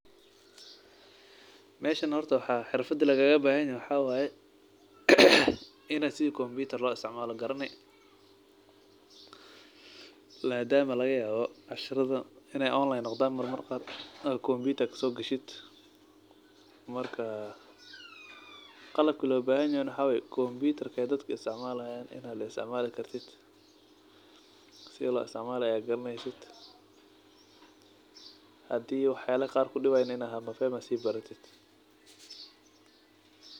Waxa xirfadaha lagaga baahan yaa inuu xawaye inasi kombiutar loo isticmaalo garanay. La daa ma lageeyo casharada in ay online khudaam mar mar qaar ka soo gashid. Markaa, qalab kala bayan inuu xaweey kombiutar ka dadka isticmaalaya inaan le isticmaal kartid. Si loo isticmaalaya garanaysid. Haddii wax xeele qaar ku dhawaan in ahaa moofay masiib baratid.